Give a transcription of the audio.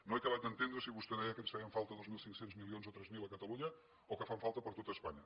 no he acabat d’entendre si vostè deia que ens feien falta dos mil cinc cents milions o tres mil a catalunya o que fan falta per a tot espanya